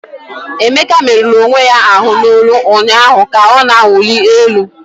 Emeka merụrụ onwe ya ahụ n'olu ụnyaahụ ka ọ na-awụli elu.